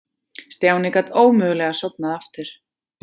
Stjáni gat ómögulega sofnað aftur.